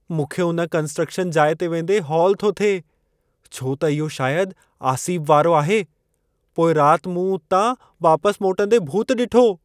मूंखे उन कंस्ट्रक्शन जाइ ते वेंदे हौल थो थिए, छो त इहो शायद आसीब वारो आहे। पोईं रात मूं उतां वापस मोटंदे भूत ॾिठो।